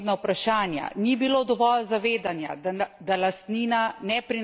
Hkrati pa so bila odprta tudi nekatera druga pomembna vprašanja.